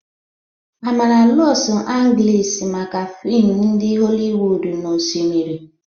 Amaara Losu Angelis maka fim ndi Holliwod na osimiri.